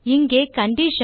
இங்கே கண்டிஷன்